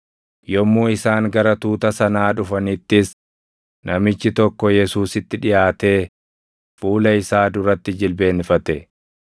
Yommuu isaan gara tuuta sanaa dhufanittis namichi tokko Yesuusitti dhiʼaatee fuula isaa duratti jilbeenfate;